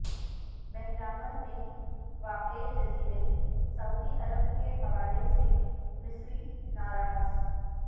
بحراحمر میں واقع جزیرے سعودی عرب کے حوالے سے مصری ناراض